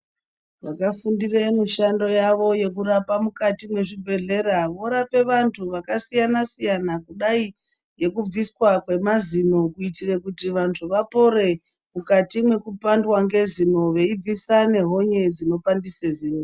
Vakafundira mishando yavo yekurapa mukati muzvibhedhelra murape vantu vakasiyana siyana kudai ngekubviswa kwemazino kuitira kuti vanthu vapore mukati mwekupandwa ngezino veibvisa nehonye dzinopandise zino.